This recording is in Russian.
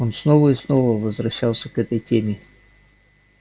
он снова и снова возвращался к этой теме